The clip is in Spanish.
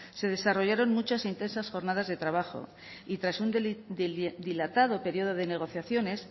se desarrollaron muchas intensas jornadas de trabajo y tras un dilatado periodo de negociaciones